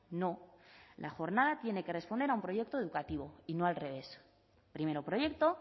no la jornada tiene que responder a un proyecto educativo y no al revés primero proyecto